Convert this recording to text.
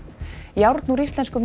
járn úr íslenskum